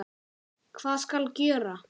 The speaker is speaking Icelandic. Hvað skal gjöra?